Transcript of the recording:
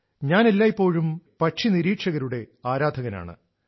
ഞാൻ എല്ലായ്പ്പോഴും പക്ഷിനിരീക്ഷകരുടെ ആരാധകനാണ്